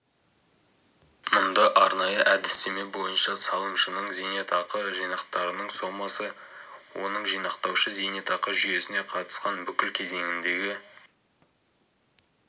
мұнда арнайы әдістеме бойынша салымшының зейнетақы жинақтарының сомасы оның жинақтаушы зейнетақы жүйесіне қатысқан бүкіл кезеңіндегі